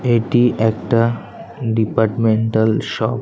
এটি একটা departmental shop.